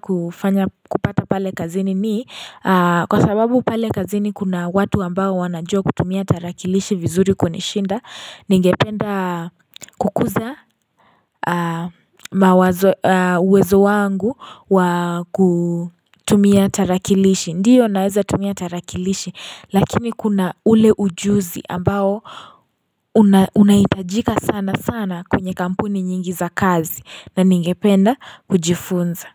kufanya kupata pale kazini ni Kwa sababu pale kazini kuna watu ambao wanajua kutumia tarakilishi vizuri kunishinda Ningependa kukuza uwezo wangu wa kutumia tarakilishi Ndiyo naweza tumia tarakilishi lakini kuna ule ujuzi ambao unaitajika sana sana kwenye kampuni nyingi za kazi na ningependa kujifunza.